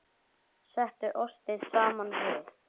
Settu ostinn saman við.